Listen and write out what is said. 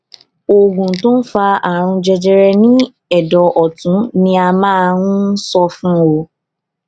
oògùn tó ń fa àrùn jẹjẹrẹ ní ẹdọ ọtún ni a máa ń sọ fún ọ